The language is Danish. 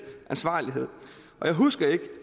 ansvarlighed og jeg husker ikke